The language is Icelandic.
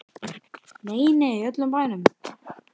Nei, nei, í öllum bænum.